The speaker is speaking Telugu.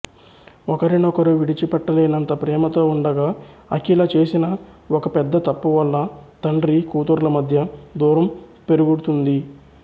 ఒకరినొకరు విడిచిపెట్టలేనంత ప్రేమతో ఉండగా అఖిల చేసిన ఒక పెద్ద తప్పు వల్ల తండ్రి కూతుర్ల మధ్య దూరం పెరుడుతుంది